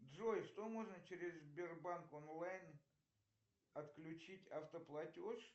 джой что можно через сбербанк онлайн отключить автоплатеж